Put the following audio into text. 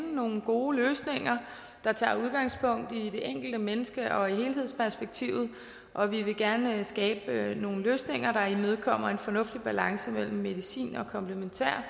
nogle gode løsninger der tager udgangspunkt i det enkelte menneske og helhedsperspektivet og vi vil gerne skabe nogle løsninger der imødekommer en fornuftig balance mellem medicin og komplementær